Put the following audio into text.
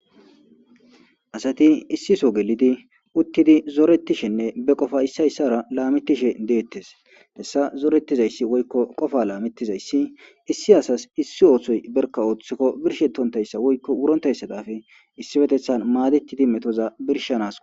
Asati issiso gelidi uttidi zoretishenne be qofa issayssara laametishe deettes hessa zoorettizayssi woykko qofa laamettizayssi issi asas issi oohsoy berka ooththikko birshetontayssa woykko wurontayssadafe issi petethan maadettidi metoza birshanas